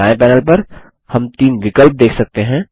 दायें पैनल पर हम तीन विकल्प देख सकते हैं